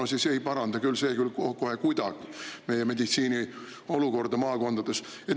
See ei paranda küll kohe kuidagi meditsiini olukorda maakondades.